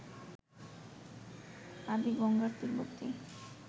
আদি গঙ্গার তীরবর্তী